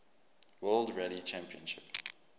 world rally championship